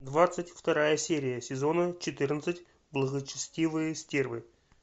двадцать вторая серия сезона четырнадцать благочестивые стервы